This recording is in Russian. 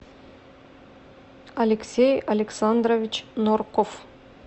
алексей александрович нурков